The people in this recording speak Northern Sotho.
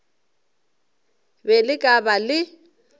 be le ka ba le